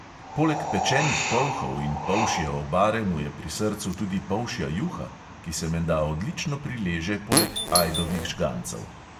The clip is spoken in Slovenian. Poleg pečenih polhov in polšje obare mu je pri srcu tudi polšja juha, ki se menda odlično prileže poleg ajdovih žgancev.